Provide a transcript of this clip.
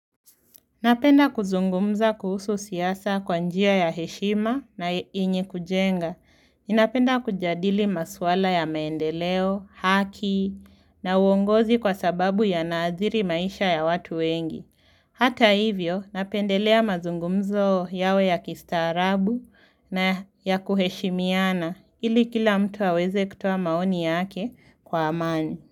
Napenda kuzungumza kuhusu siasa kwa njia ya heshima na yenye kujenga. Ninapenda kujadili maswala ya maendeleo, haki, na uongozi kwa sababu yanaadhiri maisha ya watu wengi. Hata hivyo, napendelea mazungumzo yawe ya kistaarabu na ya kuheshimiana, ili kila mtu aweze kutoa maoni yake kwa amani.